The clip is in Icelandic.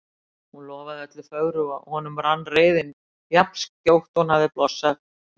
Hún lofaði öllu fögru og honum rann reiðin jafn skjótt og hún hafði blossað upp.